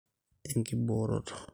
enkibooroto